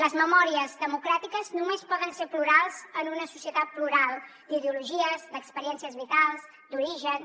les memòries democràtiques només poden ser plurals en una societat plural d’ideologies d’experiències vitals d’orígens